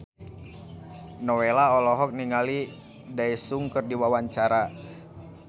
Nowela olohok ningali Daesung keur diwawancara